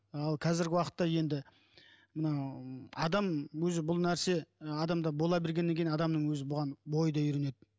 ал қазіргі уақытта енді мынау адам өзі бұл нәрсе адамда бола бергеннен кейін адамның өзі бұған бойы да үйренеді